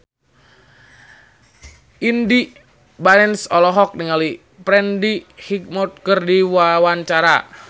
Indy Barens olohok ningali Freddie Highmore keur diwawancara